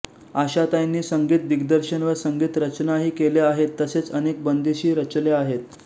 आशाताईंनी संगीत दिग्दर्शन व संगीत रचनाही केल्या आहेत तसेच अनेक बंदिशी रचल्या आहेत